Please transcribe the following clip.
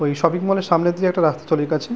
ওই শপিং মলের সামনে দিয়ে একটা রাস্তা চলে গেছে।